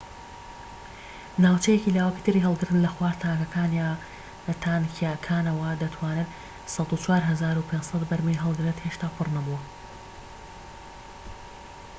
ناوچەیەکی لاوەکیی تری هەڵگرتن لە خوار تانکیەکانەوەیە دەتوانێت ١٠٤٥٠٠ بەرمیل هەڵگرێت هێشتا پڕ نەبووە